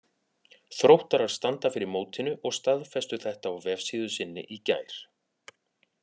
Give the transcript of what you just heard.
Þróttarar standa fyrir mótinu og staðfestu þetta á vefsíðu sinni í gær.